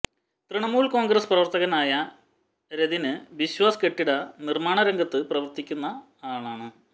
തൃണമൂൽ കോൺഗ്രസ് പ്രവർത്തകനായ രതിന് ബിശ്വാസ് കെട്ടിട നിര്മാണ രംഗത്ത് പ്രവര്ത്തിക്കുന്നയാളാണ്